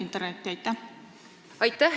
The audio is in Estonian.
Aitäh, hea küsija!